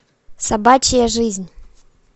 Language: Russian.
собачья жизнь